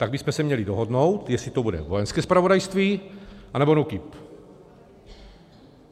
Tak bychom se měli dohodnout, jestli to bude Vojenské zpravodajství, anebo NÚKIB.